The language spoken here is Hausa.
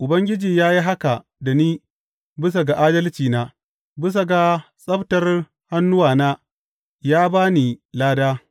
Ubangiji ya yi haka da ni bisa ga adalcina; bisa ga tsabtar hannuwana ya ba ni lada.